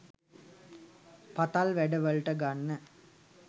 පතල් වැඩ වලට ගන්න